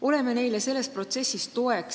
Oleme neile selles protsessis toeks.